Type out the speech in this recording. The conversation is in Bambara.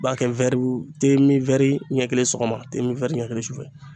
B'a kɛ ɲɛ kelen sɔgɔma tɛ ɲɛ kelen sufɛ